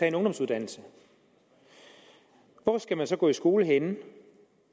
en ungdomsuddannelse hvor skal man så gå i skole henne